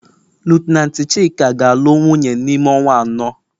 lieutenanti Chika ga-alụ wunye n'ime ọnwa anọ.